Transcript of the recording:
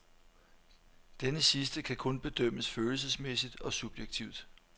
Denne sidste kan kun bedømmes følelsesmæssigt og subjektivt.